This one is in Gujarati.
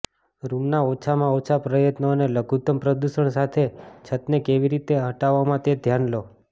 રૂમના ઓછામાં ઓછા પ્રયત્નો અને લઘુતમ પ્રદૂષણ સાથે છતને કેવી રીતે હટાવવા તે ધ્યાનમાં લો